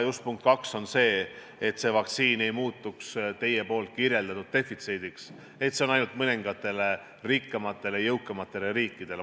Punkt kaks on see, et see vaktsiin ei tohi muutuda, nagu te kirjeldasite, defitsiidiks, nii et see läheks ainult mõningatele rikkamatele, jõukamatele riikidele.